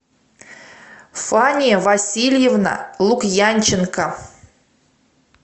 фания васильевна лукьянченко